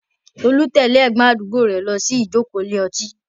Tolu tẹ̀lé ẹ̀gbọ́n àdúgbò rẹ̀ lọ sí ìjókòó ilé ọtí.